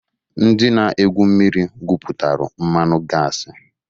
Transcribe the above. Ndị na-egwu mmiri gwụpụtalụ mmanụ gasi.